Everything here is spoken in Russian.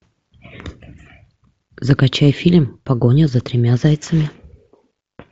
закачай фильм погоня за тремя зайцами